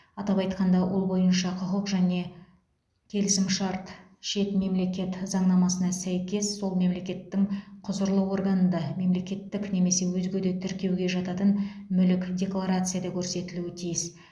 атап айтқанда ол бойынша құқық және келісімшарт шет мемлекет заңнамасына сәйкес сол мемлекеттің құзырлы органында мемлекеттік немесе өзге де тіркеуге жататын мүлік декларацияда көрсетілуі тиіс